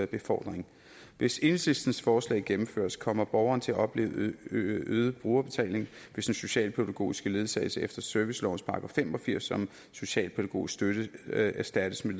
befordring hvis enhedslistens forslag gennemføres kommer borgeren til at opleve øget brugerbetaling hvis den socialpædagogiske ledsagelse efter servicelovens § fem og firs om socialpædagogisk støtte erstattes med